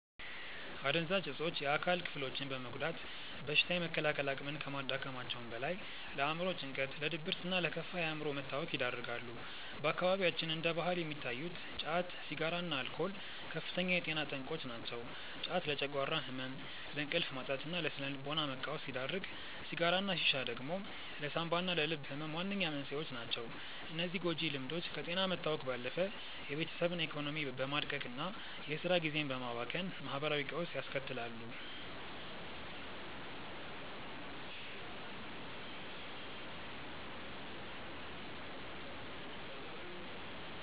አደንዛዥ እፆች የአካል ክፍሎችን በመጉዳት በሽታ የመከላከል አቅምን ከማዳከማቸውም በላይ፣ ለአእምሮ ጭንቀት፣ ለድብርትና ለከፋ የአእምሮ መታወክ ይዳርጋሉ። በአካባቢያችን እንደ ባህል የሚታዩት ጫት፣ ሲጋራና አልኮል ከፍተኛ የጤና ጠንቆች ናቸው። ጫት ለጨጓራ ህመም፣ ለእንቅልፍ ማጣትና ለስነ-ልቦና መቃወስ ሲዳርግ፣ ሲጋራና ሺሻ ደግሞ ለሳንባና ለልብ ህመም ዋነኛ መንስኤዎች ናቸው። እነዚህ ጎጂ ልምዶች ከጤና መታወክ ባለፈ የቤተሰብን ኢኮኖሚ በማድቀቅና የስራ ጊዜን በማባከን ማህበራዊ ቀውስ ያስከትላሉ።